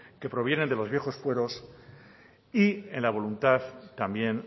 que provienen de los viejos fueros y en la voluntad también